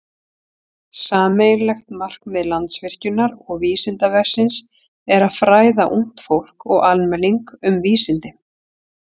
Sameiginlegt markmið Landsvirkjunar og Vísindavefsins er að fræða ungt fólk og almenning um vísindi.